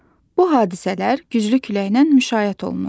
Bu hadisələr güclü küləklə müşayiət olunur.